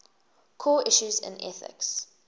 core issues in ethics